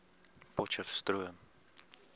potcheftsroom